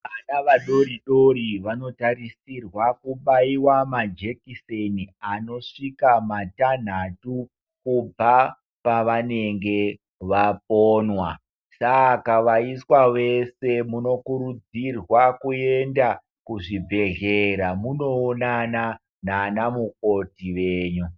Vana vadoridori vanotarisirwa kubaiva majekiseni anosvika matanhatu kubva pavanenge vaponwa. Saka vaiswa vese munokurudzirwa kuenda kuzvibhedhlera munoonana nana mukoti venyu.